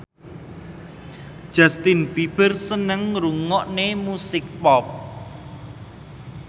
Justin Beiber seneng ngrungokne musik pop